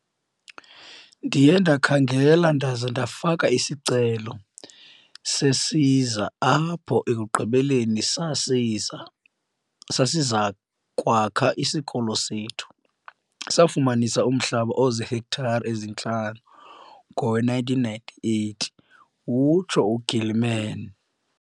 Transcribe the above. "Ndiye ndakhangela ndaza ndafaka isicelo sesiza apho ekugqibeleni sasiza kwakha isikolo sethu. Safumana umhlaba ozihektare ezintlanu ngowe-1998," utsho u-Gilman.